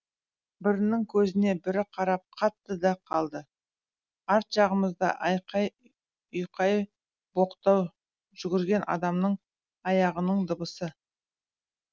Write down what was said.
бірінің көзіне бірі қарап қатты да қалды арт жағымызда айқай ұйқай боқтау жүгірген адамның аяғының дыбысы